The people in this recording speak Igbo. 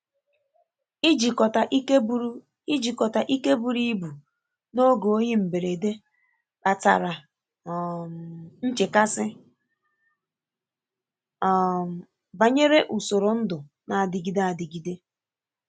Ijikọta ike buru Ijikọta ike buru ibu n'oge oyi mberede, kpatara um nchekasị um banyere usoro ndụ na-adịgide adịgide.